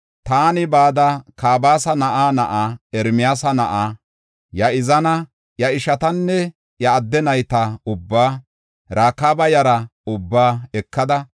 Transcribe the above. Taani bada, Kabasa na7aa na7aa, Ermiyaasa na7aa Ya7izaana, iya ishatanne iya adde nayta ubbaa, Rakaaba yaraa ubbaa ekada,